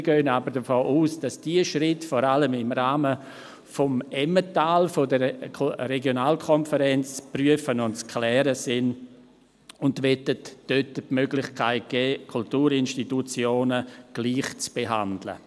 Wir gehen aber davon aus, dass diese Schritte vor allem im Rahmen des Emmentals, der Regionalkonferenz, zu prüfen und zu klären sind, und möchten dort die Möglichkeit schaffen, Kulturinstitutionen gleich zu behandeln.